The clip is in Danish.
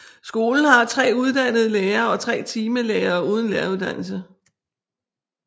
Skolen har tre uddannede lærere og tre timelærere uden læreruddannelse